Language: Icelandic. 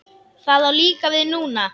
Það á líka við núna.